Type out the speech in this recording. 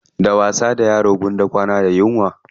Da wasa da yaro gwara kwana da yunwa.